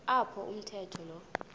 apho umawethu lo